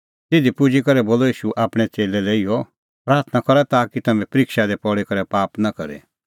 तिधी पुजी करै बोलअ ईशू आपणैं च़ेल्लै लै इहअ प्राथणां करा ताकि तम्हैं परिक्षा दी पल़ी करै पाप नां करे